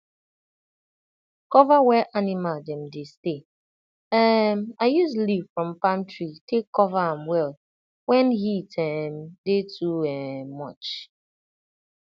cover wey animal dem dey stay um i use leaf from palm tree take cover am well when heat um dey too um much